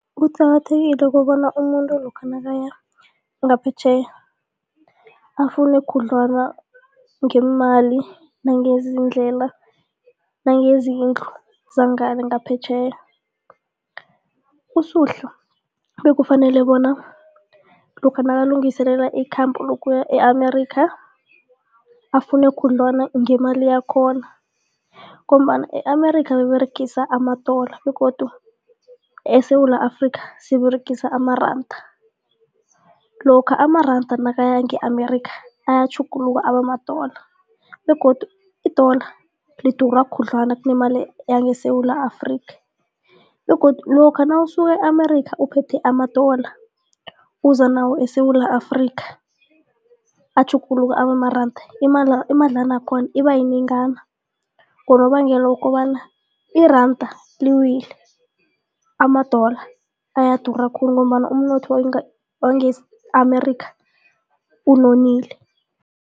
Kuqakathekile kobana umuntu lokha nakaya ngaphetjheya afune khudlwana ngeemali nangeezindlela nangezindlu zangele ngaphetjheya. USuhla bekufanele bona lokha nakalungiselela ikhambo lokuya e-America afune khudlwana ngemali yakhona ngombana e-America baberegisa amadola begodu eSewula Afrika siberegisa amaranda, lokha amaranda nakaya nge-America ayatjhuguluka abamadola begodu idola lidura khudlwana kunemali yangeSewula Afrika begodu lokha nawusuka e-America uphethe amadola uza nawo eSewula Afrika, atjhuguluka abamaranda, imadlana yakhona iba yinengana ngonobangela wokobana iranda liwile amadola ayadura khulu ngombana umnotho wange-America unonile.